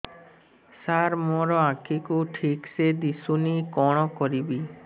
ସାର ମୋର ଆଖି କୁ ଠିକସେ ଦିଶୁନି କଣ କରିବି